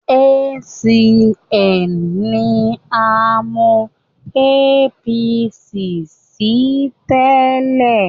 ACN ni a mọ APC sí tẹ́lẹ̀